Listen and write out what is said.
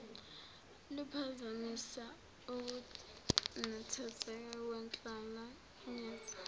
luphazamisa ukunethezeka kwenhlalayenza